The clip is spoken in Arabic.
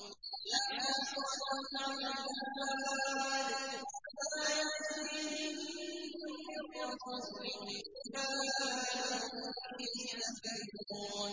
يَا حَسْرَةً عَلَى الْعِبَادِ ۚ مَا يَأْتِيهِم مِّن رَّسُولٍ إِلَّا كَانُوا بِهِ يَسْتَهْزِئُونَ